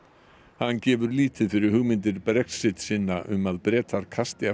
hann gefur lítið fyrir hugmyndir Brexitsinna um að Bretar kasti af